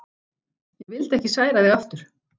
Ég vildi ekki særa þig aftur.